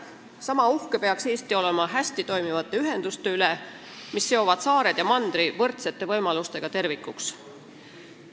Sama uhke peaks Eesti olema hästi toimivate ühenduste üle, mis seovad saared ja mandri võrdsete võimalustega tervikuks.